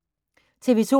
TV 2